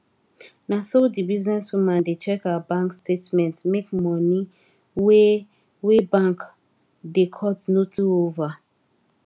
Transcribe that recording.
na so the business woman da check her bank statement make money wey wey bank da cut no too over